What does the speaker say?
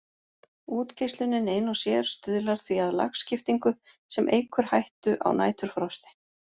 Útgeislunin ein og sér stuðlar því að lagskiptingu sem eykur hættu á næturfrosti.